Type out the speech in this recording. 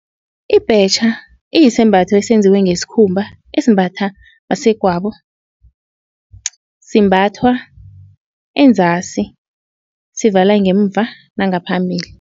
Ibhetjha iyisembatho esenziwe ngesikhumba esimbatha basegwabo. Simbathwa enzasi, sivala ngemva nangaphambili.